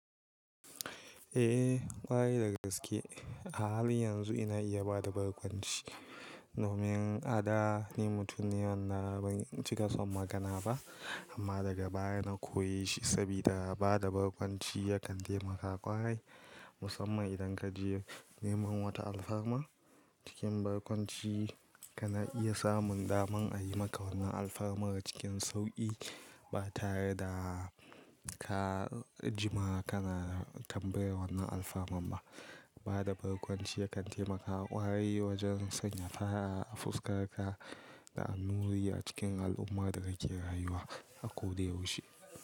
Eh ƙwarai da gaske. A halin yanzu ina iya ba da barkwanci domin a da ni mutum ne wanda ban cika son magana ba amma daga baya na koye shi sabida ba da barkwanci yakan taimaka ƙwarai musamman idan ka je neman wata alfarma. Cikin barkwanci ka na iya samun daman a yi maka wannan alfarmar cikin sauƙi ba tare da ka jima ka na tambayan wannan alfaman ba. Ba da barkwanci yakan taimaka ƙwarai wajen sanya fara'a a fuskar ka da annuri a cikin al'ummar da kake rayuwa, a ko da yaushe.